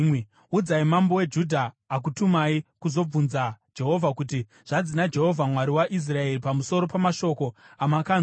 Udzai mambo weJudha, akutumai kuzobvunza Jehovha, kuti, ‘Zvanzi naJehovha, Mwari waIsraeri, pamusoro pamashoko amakanzwa: